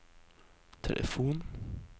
telefon